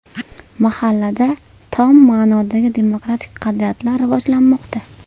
Mahallada tom ma’nodagi demokratik qadriyatlar rivojlanmoqda.